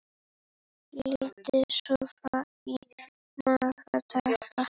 Lítið sofið í marga daga.